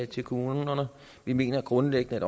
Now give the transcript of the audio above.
til kommunerne vi mener grundlæggende